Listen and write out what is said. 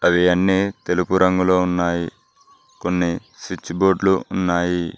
అవి అన్ని తెలుగు రంగులో ఉన్నాయి కొన్ని స్విచ్ బోర్డు లు ఉన్నాయి.